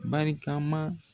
Barika ma